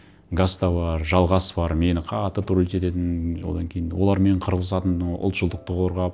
гаста бар жалғас бар мені қатты троллить ететін одан кейін олармен қырылысатынмын ұлтшылдықты қорғап